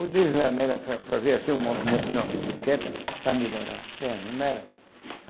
O desenho era fa fazer assim um movimento na bicicleta para melhorar as pernas, não era?